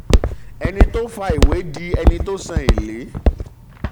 ẹni tó fa ìwé di ẹni tó san èlé